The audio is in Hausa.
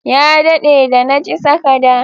Ya dade da na ci sakada.